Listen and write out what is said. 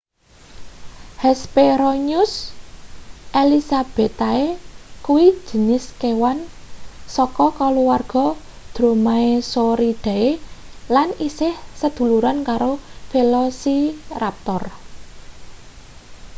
hesperonychus elizabethae kuwi jinis kewan saka kaluwarga dromaeosauridae lan isih seduluran karo velociraptor